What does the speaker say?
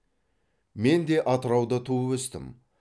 мен де атырауда туып өстім